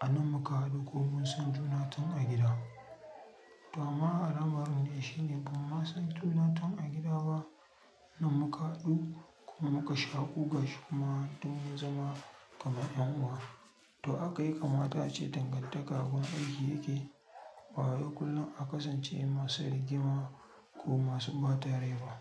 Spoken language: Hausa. a nan muka haɗu kuma munsan juna tun a gida. To amma alamar ne shi ne bamu san juna tun a gida ba nan muka haɗu kuma muka shaƙu gashi kuma tun zaman kamar ƴan uwa. To aka yakamar ta ce dangantaka abun aiki yake, baya kullum a kasance masu rigima ko masu ɓata rai ba.